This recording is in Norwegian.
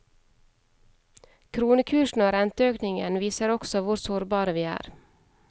Kronekursen og renteøkningen viser også hvor sårbare vi er.